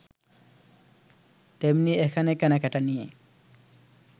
তেমনি এখানে কেনাকেটা নিয়ে